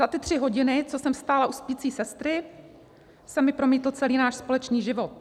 Za ty tři hodiny, co jsem stála u spící sestry, se mi promítl celý náš společný život.